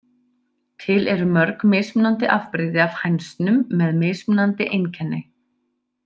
Til eru mörg mismunandi afbrigði af hænsnum með mismunandi einkenni.